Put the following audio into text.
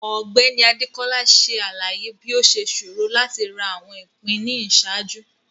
Ọgbẹni Adekola ṣe alaye bi o ṣe ṣoro lati ra awọn ipin ni iṣaaju.